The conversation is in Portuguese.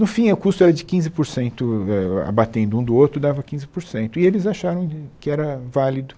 No fim, o custo era de quinze por cento eh eh, abatendo um do outro dava quinze por cento, e eles acharam que era válido.